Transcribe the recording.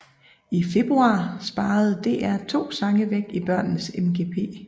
I februar sparede DR to sange væk i børnenes MGP